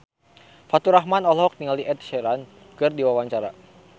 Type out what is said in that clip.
Faturrahman olohok ningali Ed Sheeran keur diwawancara